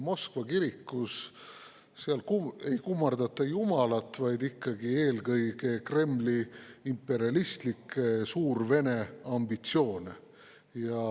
Moskva kirikus ei kummardata jumalat, vaid ikkagi eelkõige Kremli imperialistlikke suurvene ambitsioone.